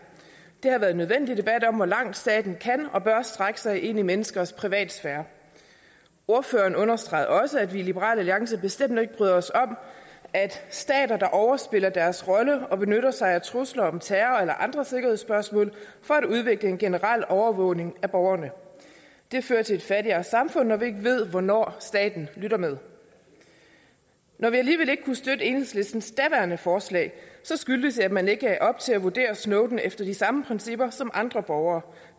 det har været en nødvendig debat om hvor langt staten kan og bør strække sig ind i menneskers privatsfære ordføreren understregede også at vi i liberal alliance bestemt ikke bryder os om at stater overspiller deres rolle og benytter sig af trusler om terror eller andre sikkerhedsspørgsmål for at udvikle en generel overvågning af borgerne det fører til et fattigere samfund når vi ikke ved hvornår staten lytter med når vi alligevel ikke kunne støtte enhedslistens daværende forslag skyldtes det at man ikke lagde op til at vurdere snowden efter de samme principper som andre borgere